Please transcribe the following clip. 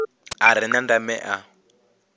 a re na ndeme a